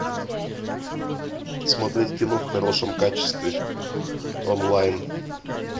смотреть кино в хорошем качестве онлайн